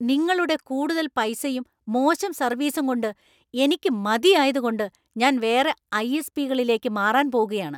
നിങ്ങളുടെ കൂടുതൽ പൈസയും ,മോശം സർവീസും കൊണ്ട് എനിക്ക് മതിയായതുകൊണ്ട് ഞാൻ വേറെ ഐ.എസ്.പി.കളിലെക്ക് മാറാൻ പോകുകയാണ്.